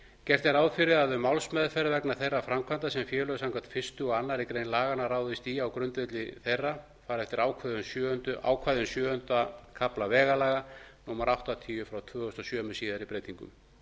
gert er ráð fyrir að um málsmeðferð vegna þeirra framkvæmda sem félög samkvæmt fyrstu og aðra grein laganna ráðast í á grundvelli þeirra fari eftir ákvæðum sjöunda kafla vegalaga númer áttatíu tvö þúsund og sjö með síðari breytingum